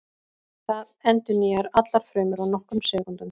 Það endurnýjar allar frumur á nokkrum sekúndum.